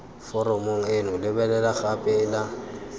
foromong eno lebelela gape ela